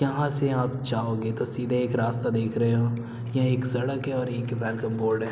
यहाँ से आप जाओगे तो सीधे एक रास्ता देख रहे हो ये एक सड़क है और एक वेलकम बोर्ड है।